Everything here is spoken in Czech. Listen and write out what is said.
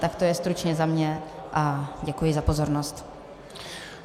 Tak to je stručně za mě a děkuji za pozornost.